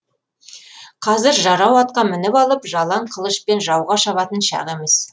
қазір жарау атқа мініп алып жалаң қылышпен жауға шабатын шақ емес